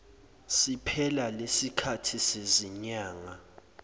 siphela lesikhathi sezinyanga